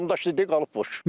Damdaşdı qalıb boş.